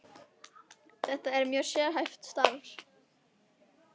Þetta er mjög sérhæft starf.